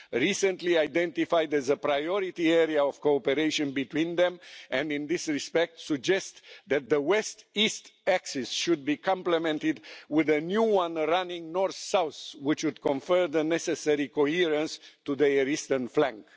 recently identified as a priority area of cooperation between them, and in this respect suggest that the west east axis should be complemented with a new one running north south, which would confer the necessary coherence to their eastern flank.